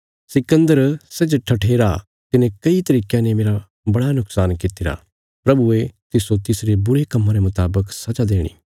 सिकन्दर सै जे ठठेरा तिने कई तरीकयां ने मेरा बड़ा नुक्शान कित्तिरा प्रभुये तिस्सो तिसरे बुरे कम्मा रे मुतावक सजा देणी